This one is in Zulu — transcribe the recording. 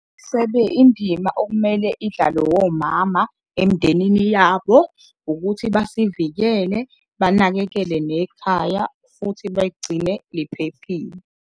indima okumele idlalwe womama emndenini yabo ukuthi basivikele, banakekele nekhaya futhi bayigcine iphephile.